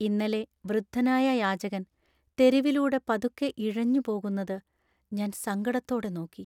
ഇന്നലെ വൃദ്ധനായ യാചകൻ തെരുവിലൂടെ പതുക്കെ ഇഴഞ്ഞു പോകുന്നത് ഞാൻ സങ്കടത്തോടെ നോക്കി .